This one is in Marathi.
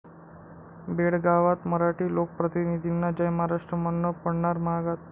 बेळगावात मराठी लोकप्रतिनिधींना जय महाराष्ट्र म्हणणं पडणार महागात